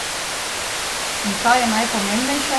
In kaj je najpomembnejše?